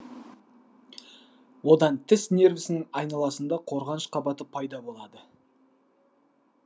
одан тіс нервісінің айналасында қорғаныш қабаты пайда болады